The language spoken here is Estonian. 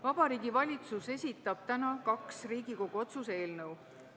Vabariigi Valitsus esitab täna kaks Riigikogu otsuse eelnõu.